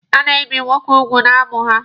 A na-ebi nwoke ugwu n'amụ ha.